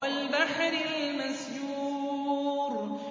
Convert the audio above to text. وَالْبَحْرِ الْمَسْجُورِ